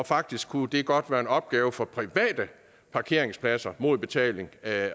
faktisk kunne det godt være en opgave for private parkeringspladser mod betaling at